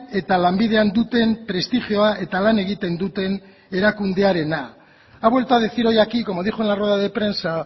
eta lanbidean duten prestigioa eta lan egiten duten erakundearena ha vuelto a decir hoy aquí como dijo en la rueda de prensa